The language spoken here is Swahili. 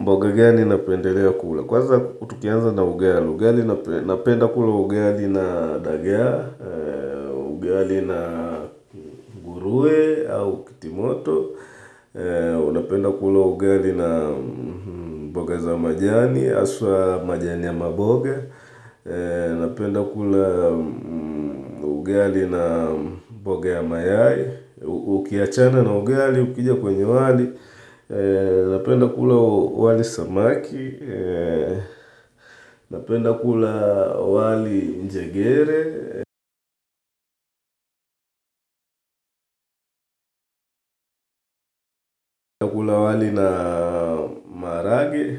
Mboga gani napendelea kula. Kwanza tukianza na ugali. Ugali napenda kula ugali na dagaa, ugali na nguruwe au kitimoto, ninapenda kula ugali na mboga za majani, haswa majani ya maboga, ninapenda kula ugali na mboga ya mayai, ukiachana na ugali, ukija kwenye wali, ninapenda kula wali samaki, Ninapenda kula wali njegere, ninapenda kula wali na maharage